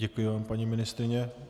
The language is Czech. Děkuji vám, paní ministryně.